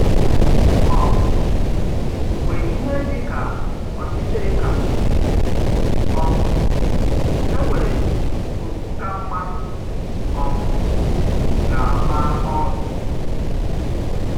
um Mgbe ihe dị ka ọchịchịrị kàsị, um e nwere oku ka mmadụ um gà-ama ọrụ!